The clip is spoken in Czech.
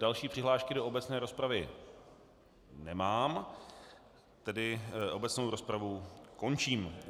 Další přihlášky do obecné rozpravy nemám, tedy obecnou rozpravu končím.